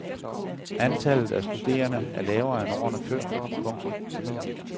Antallet af studerende er lavere end årene før. punktum